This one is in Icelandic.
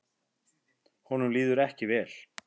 Honum líður ekki vel.